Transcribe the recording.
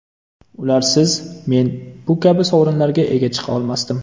Ularsiz men bu kabi sovrinlarga ega chiqa olmasdim.